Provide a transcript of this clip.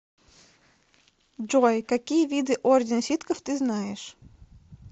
джой какие виды орден ситхов ты знаешь